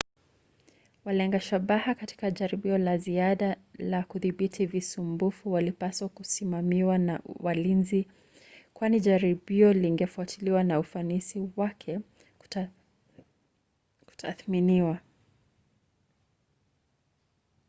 walenga shabaha katika jaribio la ziada la kudhibiti visumbufu walipaswa kusimamiwa na walinzi kwani jaribio lingefuatiliwa na ufanisi wake kutathminiwa